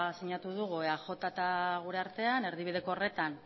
sinatu dugu eaj eta gure artean erdibideko horretan